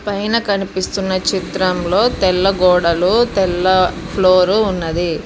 పైన కనిపిస్తున్న చిత్రంలో తెల్ల గోడలు తెల్ల ఫ్లోర్ ఉన్నది.